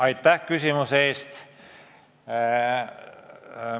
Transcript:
Aitäh küsimuse eest!